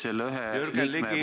Selle ühe liikme puhul ...